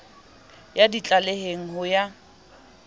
ye di tlaleheng ho ya